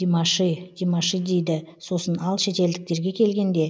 димаши димаши дейді сосын ал шетелдіктерге келгенде